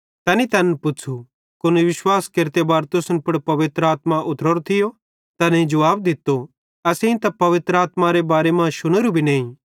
तैनी तैन पुच़्छ़ू कुन विश्वास केरते बार तुसन पुड़ पवित्र आत्मा उतरोरी थी तैनेईं जुवाब दित्तो असेईं त पवित्र आत्मारे बारे मां शुनेरू भी नईं